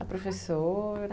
A professora...?